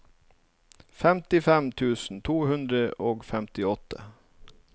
femtifem tusen to hundre og femtiåtte